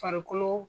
Farikolo